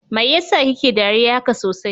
Mai yasa kike dariya haka sosai?